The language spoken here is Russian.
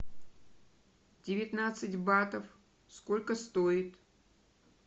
девятнадцать батов сколько стоит